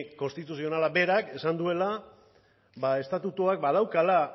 konstituzionalak berak esan duela estatutuak badaukala